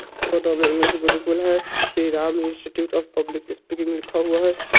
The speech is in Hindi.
फोटो में इंग्लिश गुरुकुल है। Shri Ram institute of public speaking लिखा हुआ है---